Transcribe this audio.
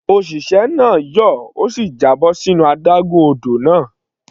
Òṣìṣẹ́ náà yọ̀, ó sì já bọ́ sínú adágún odò náà.